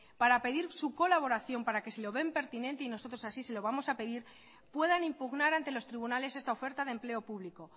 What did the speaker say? para pedir su colaboración para que si lo ven pertinente y nosotros así se lo vamos a pedir puedan impugnar ante los tribunales esta oferta de empleo público